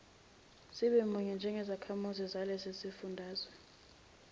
sibemunye njengezakhamizi zalesisifundazwe